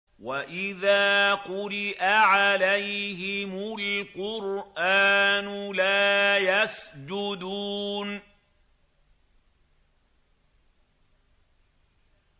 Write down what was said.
وَإِذَا قُرِئَ عَلَيْهِمُ الْقُرْآنُ لَا يَسْجُدُونَ ۩